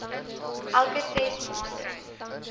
elke ses maande